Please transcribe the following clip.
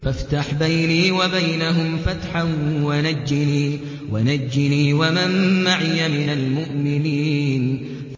فَافْتَحْ بَيْنِي وَبَيْنَهُمْ فَتْحًا وَنَجِّنِي وَمَن مَّعِيَ مِنَ الْمُؤْمِنِينَ